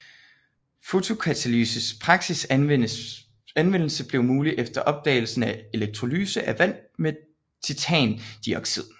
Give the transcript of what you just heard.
Fotokatalyses praktisk anvendelse blev mulig efter opdagelsen af elektrolyse af vand med titandioxid